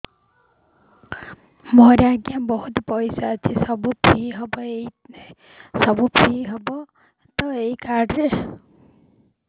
ମୋର ଆଜ୍ଞା ବହୁତ ପଇସା ଅଛି ସବୁ ଫ୍ରି ହବ ତ ଏ କାର୍ଡ ରେ